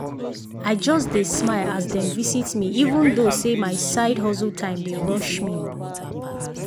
i just dey smile as dem visit me even though say my side hustle time dey rush me.